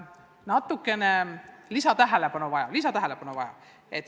Vahest võiks öelda, et nad vajavad natukene lisatähelepanu.